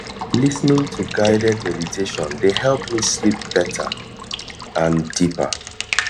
lis ten ing to guided meditation dey help me sleep better and deeper